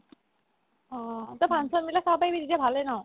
অ, তই function বিলাক চাব পাৰিবি তেতিয়াতো ভালে ন